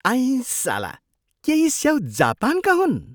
आइँसाला! के यी स्याउ जापानका हुन्?